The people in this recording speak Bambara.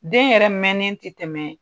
Den yɛrɛ mɛnnen tɛ tɛmɛ